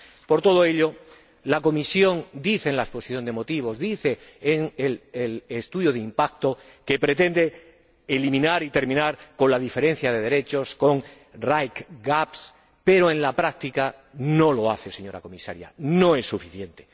Por todo ello, la Comisión dice en la exposición de motivos, dice en el estudio de impacto, que pretende eliminar y terminar con la diferencia de derechos, con los right gaps pero en la práctica no lo hace, señora Comisaria, no es suficiente.